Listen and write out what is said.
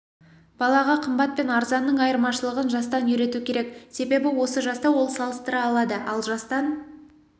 балаға қымбат пен арзанның айырмашылығын жастан үйрету керек себебі осы жаста ол салыстыра алады ал жастан